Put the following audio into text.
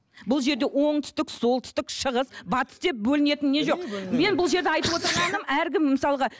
бұл жерде оңтүстік солтүстік шығыс батыс деп бөлінетін не жоқ мен бұл жерде айтып отырғаным әркім мысалға